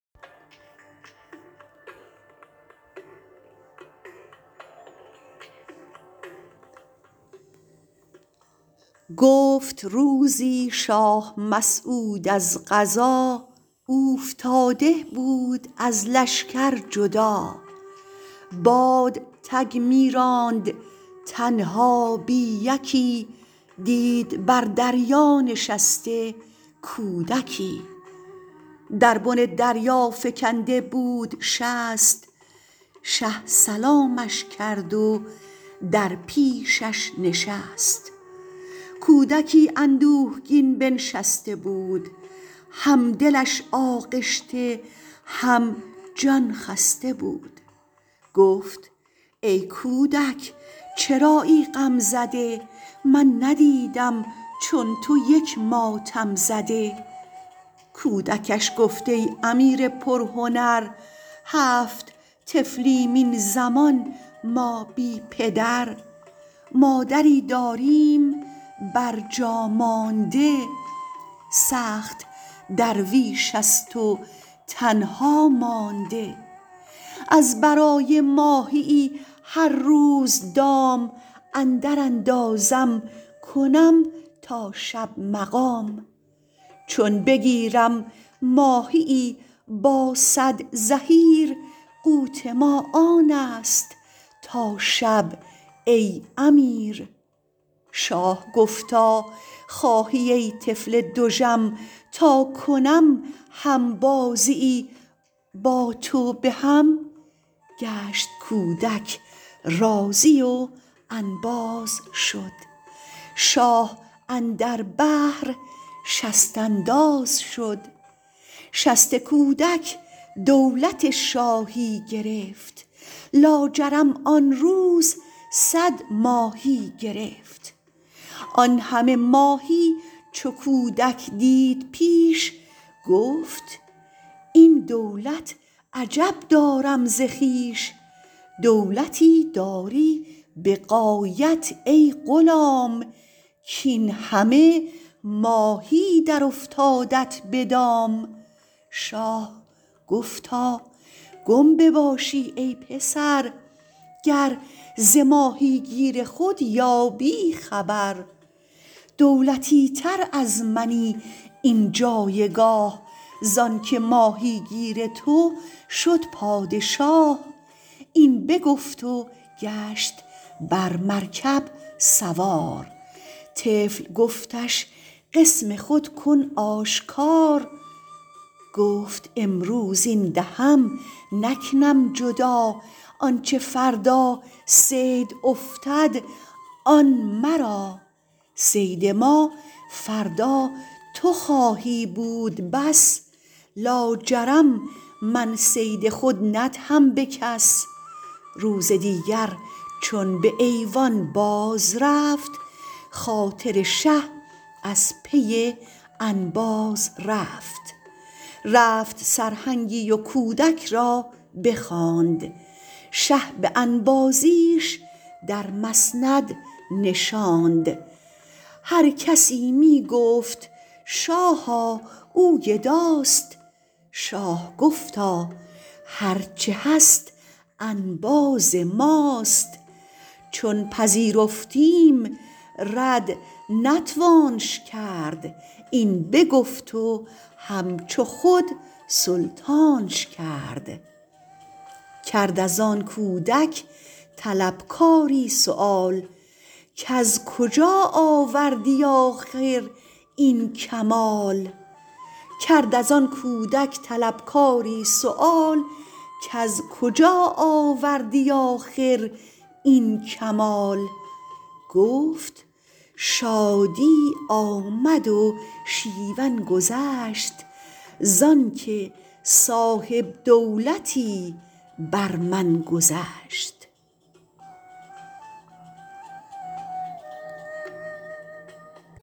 گفت روزی شاه مسعود از قضا اوفتاده بود از لشگر جدا باد تگ می راند تنها بی یکی دید بر دریا نشسته کودکی در بن دریا فکنده بود شست شه سلامش کرد و در پیشش نشست کودکی اندوهگین بنشسته بود هم دلش آغشته هم جان خسته بود گفت ای کودک چرایی غم زده من ندیدم چون تو یک ماتم زده کودکش گفت ای امیر پر هنر هفت طفلیم این زمان ما بی پدر مادری داریم بر جا مانده سخت درویش است و تنها مانده از برای ماهیی هر روز دام اندر اندازم کنم تا شب مقام چون بگیرم ماهیی با صد زحیر قوت ما آنست تا شب ای امیر شاه گفتا خواهی ای طفل دژم تا کنم همبازیی با تو به هم گشت کودک راضی و انباز شد شاه اندر بحر شست انداز شد شست کودک دولت شاهی گرفت لاجرم آن روز صد ماهی گرفت آن همه ماهی چو کودک دید پیش گفت این دولت عجب دارم ز خویش دولتی داری به غایت ای غلام کاین همه ماهی درافتادت به دام شاه گفتا گم بباشی ای پسر گر ز ماهی گیر خود یابی خبر دولتی تر از منی این جایگاه زانکه ماهیگیر تو شد پادشاه این بگفت و گشت بر مرکب سوار طفل گفتش قسم خود کن آشکار گفت امروز این دهم نکنم جدا آنچ فردا صید افتد آن مرا صید ما فردا تو خواهی بود بس لاجرم من صید خود ندهم به کس روز دیگر چون به ایوان بازرفت خاطر شه از پی انباز رفت رفت سرهنگی و کودک را بخواند شه به انبازیش در مسند نشاند هرکسی می گفت شاها او گداست شاه گفتا هرچ هست انباز ماست چون پذیرفتیم رد نتوانش کرد این بگفت و همچو خود سلطانش کرد کرد از آن کودک طلبکاری سؤال کز کجا آوردی آخر این کمال گفت شادی آمد و شیون گذشت زانکه صاحب دولتی بر من گذشت